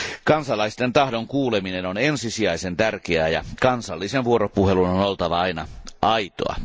Kansalaisten tahdon kuuleminen on ensisijaisen tärkeää ja kansallisen vuoropuhelun on oltava aina aitoa.